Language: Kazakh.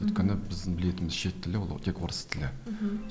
өйткені біздің білетін шет тілі ол тек орыс тілі мхм